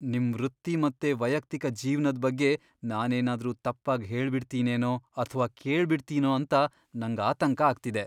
ನಿಮ್ ವೃತ್ತಿ ಮತ್ತೆ ವೈಯಕ್ತಿಕ ಜೀವ್ನದ್ ಬಗ್ಗೆ ನಾನೇನಾದ್ರೂ ತಪ್ಪಾಗ್ ಹೇಳ್ಬಿಡ್ತಿನೇನೋ ಅಥ್ವಾ ಕೇಳ್ಬಿಡ್ತೀನೋ ಅಂತ ನಂಗ್ ಆತಂಕ ಆಗ್ತಿದೆ.